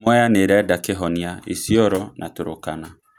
Mwea nĩĩrenda kĩhonia Isiolo na Turkana